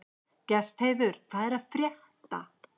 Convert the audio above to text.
Gestheiður, hvað er að frétta?